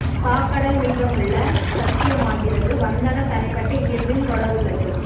சாக்கடல் மீதமுள்ள சாத்தியமாகிறது வந்தன தனிப்பட்ட இயல்பின் தொட உள்ளது